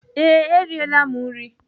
Ee, E riela m nri.